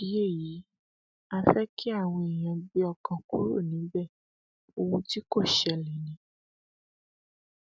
nídìí èyí á fẹ kí àwọn èèyàn gbé ọkàn kúrò níbẹ ohun tí kò ṣẹlẹ ni